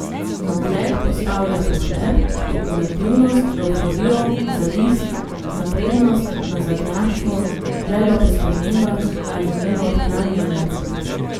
Na ogled postavlja pohlep, špekulativnost, evforijo, zavist, naprednost, nazadnjaštvo, željo po spremembah ali njeno odklanjanje ...